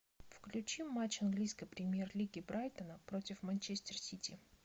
включи матч английской премьер лиги брайтона против манчестер сити